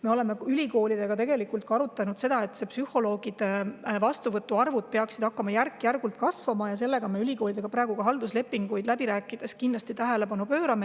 Me oleme ülikoolidega arutanud, et psühholoogide vastuvõtuarvud peaksid hakkama järk-järgult kasvama, ülikoolidega halduslepinguid me pöörame sellele kindlasti tähelepanu.